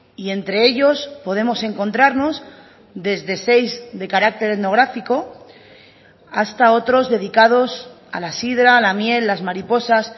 y entre ellos podemos encontrarnos desde seis de carácter etnográfico hasta otros dedicados a la sidra a la miel las mariposas